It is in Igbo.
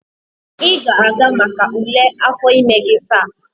ị ga-aga maka ule afọ ime gị taa?